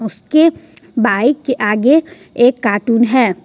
इसके बाइक के आगे एक कार्टून है।